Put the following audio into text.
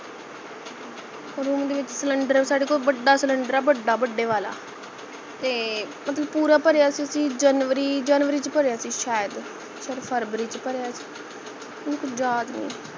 room ਦੇ ਵਿੱਚ cylinder ਸਾਡੇ ਕੋਲ ਬੜਾ cylinder ਹੈ ਬੜਾ ਬੜੇ ਵਾਲਾ ਤੇ ਮਤਲਬ ਪੂਰਾ ਭਰਿਆ ਸੀ ਅਸੀਂ ਜਨਵਰੀ ਜਨਵਰੀ ਚ ਭਰਿਆ ਸੀ ਸ਼ਇਦ ਫਰਬਰੀ ਚ ਭਰਿਆ ਸੀ ਯਾਦ ਨਹੀਂ